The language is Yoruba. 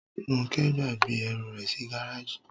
Róńkẹ́ gbàgbé ẹrù rẹ̀ sí gáràjì.